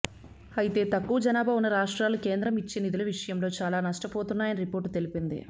అయితే తక్కువ జనాభా ఉన్న రాష్ట్రాలు కేంద్రం ఇచ్చే నిధుల విషయంలో చాలా నష్టపోతున్నాయని రిపోర్టు తెలిపింది